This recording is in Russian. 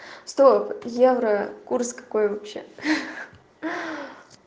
стоп евро курс какой вообще ха